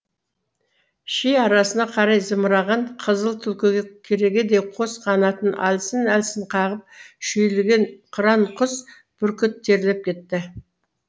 ши арасына қарай зымыраған қызыл түлкіге керегедей қос қанатын әлсін әлсін қағып шүйілген қыран құс бүркіт терлеп кетті